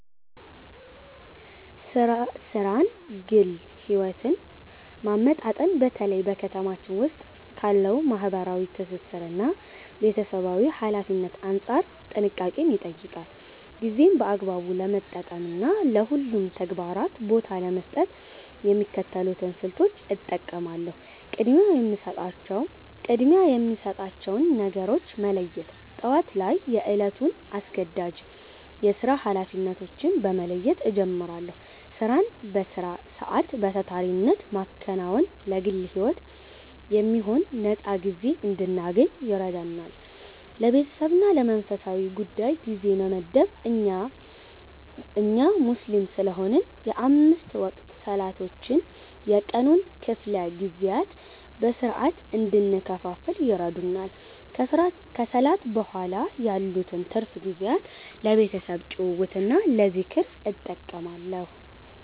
ሥራንና ግል ሕይወትን ማመጣጠን በተለይ በ ከተማችን ዉስጥ ካለው ማህበራዊ ትስስርና ቤተሰባዊ ኃላፊነት አንጻር ጥንቃቄን ይጠይቃል። ጊዜን በአግባቡ ለመጠቀምና ለሁሉም ተግባራት ቦታ ለመስጠት የሚከተሉትን ስልቶች እጠቀማለሁ፦ ቅድሚያ የሚሰጣቸውን ነገሮች መለየት፦ ጠዋት ላይ የዕለቱን አስገዳጅ የሥራ ኃላፊነቶች በመለየት እጀምራለሁ። ሥራን በሥራ ሰዓት በታታሪነት ማከናወን ለግል ሕይወት የሚሆን ነፃ ጊዜ እንድናገኝ ይረዳል። ለቤተሰብና ለመንፈሳዊ ጉዳይ ጊዜ መመደብ፦ እኛ ሙስሊም ስለሆንን የአምስት ወቅት ሰላቶች የቀኑን ክፍለ ጊዜያት በሥርዓት እንድንከፋፍል ይረዱናል። ከሰላት በኋላ ያሉትን ትርፍ ጊዜያት ለቤተሰብ ጭውውትና ለዝክር እጠቀማለሁ።